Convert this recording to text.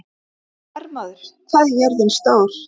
Hermóður, hvað er jörðin stór?